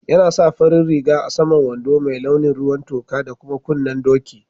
Yana sa farin riga a'saman wando mai launin ruwan toka da kuma kunnen doki.